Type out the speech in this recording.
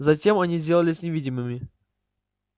затем они сделались невидимыми